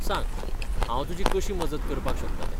सांग, हांव तुजी कशी मजत करपाक शकता तें.